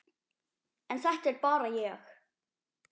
En þetta er bara ég.